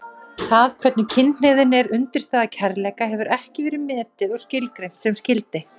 Það hvernig kynhneigðin er undirstaða kærleika hefur ekki verið metið og skilgreint sem skyldi.